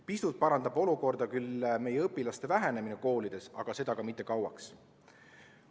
Pisut parandab olukorda küll õpilaste arvu vähenemine koolides, aga seda ka mitte kauaks.